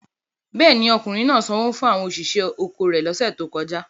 Bẹ́ẹ̀ ni, ọkùnrin náà sanwó fún àwọn òṣìṣẹ́ oko rẹ̀ lọ́sẹ̀ tó kọjá.